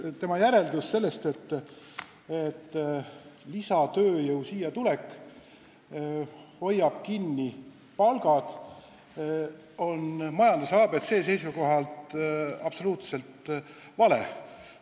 Tema järeldus, et lisatööjõu Eestisse tulek hoiab palku kinni, on majanduse ABC kohaselt absoluutselt vale.